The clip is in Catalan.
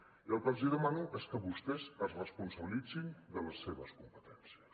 i el que els demano és que vostès es responsabilitzin de les seves competències